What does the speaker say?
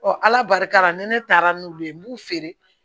ala barika la ni ne taara n'u ye n b'u feere